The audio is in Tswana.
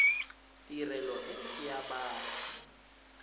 tirelo e ke ya batho